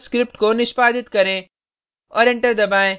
का उपयोग करके पर्ल स्क्रिप्ट को निष्पादित करें